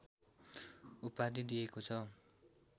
उपाधि दिएको छ